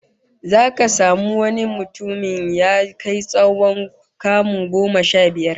Zaka samu wani mutumin ya kai tsawon kamu goma sha biyar